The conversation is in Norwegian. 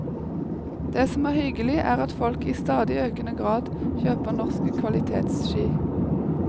Det som er hyggelig, er at folk i stadig økende grad kjøper norske kvalitetsski.